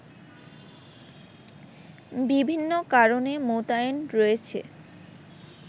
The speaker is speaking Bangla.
বিভিন্ন কারণে মোতায়েন রয়েছে